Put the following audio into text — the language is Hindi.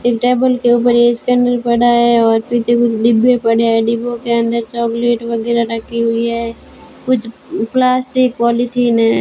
इस टेबल के ऊपर ये सैंडल पड़ा है और पीछे कुछ डिब्बे पड़े हैं डिब्बों के अंदर चॉकलेट वगैरह रखी हुई है कुछ प्लास्टिक पॉलीथिन है।